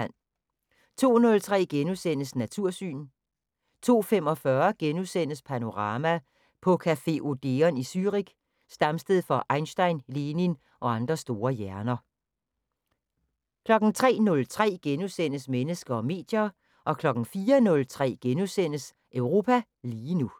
02:03: Natursyn * 02:45: Panorama: På café Odeon i Zürich, stamsted for Einstein, Lenin og andre store hjerner * 03:03: Mennesker og medier * 04:03: Europa lige nu *